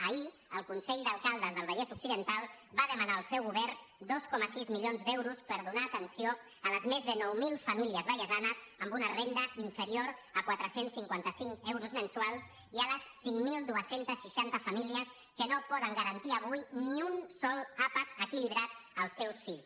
ahir el consell d’alcaldes del vallès occidental va demanar al seu govern dos coma sis milions d’euros per donar atenció a les més de nou mil famílies vallesanes amb una renda inferior a quatre cents i cinquanta cinc euros mensuals i a les cinc mil dos cents i seixanta famílies que no poden garantir avui ni un sol àpat equilibrat als seus fills